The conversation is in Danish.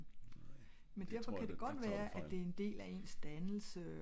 nej jeg tror der tager du fejl